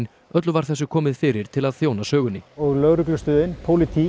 öllu var þessu komið fyrir til að þjóna sögunni og lögreglustöðin